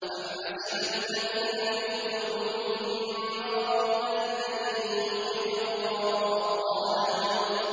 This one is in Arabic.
أَمْ حَسِبَ الَّذِينَ فِي قُلُوبِهِم مَّرَضٌ أَن لَّن يُخْرِجَ اللَّهُ أَضْغَانَهُمْ